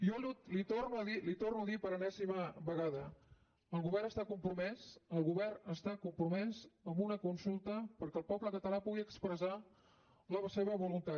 jo li ho torno a dir per enèsima vegada el govern està compromès el govern està compromès amb una consulta perquè el poble català pugui expressar la seva voluntat